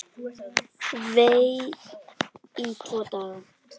Vei, í tvo daga!